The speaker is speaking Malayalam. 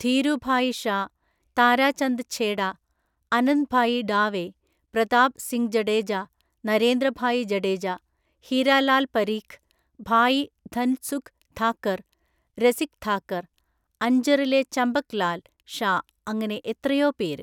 ധീരുഭായി ഷാ, താരാചന്ദ് ഛേഡ, അനന്ദ്ഭായി ഡാവെ, പ്രതാപ് സിംങ്ജഡേജ, നരേന്ദ്രഭായി ജഡേജ, ഹിര ലാല് പരീഖ്, ഭായി ധന്സുഖ് ഥാക്കര്, രസിക് ഥാക്കര്, അന്ജറിലെ ചമ്പക് ലാല് ഷാ അങ്ങിനെ എത്രയോ പേര്.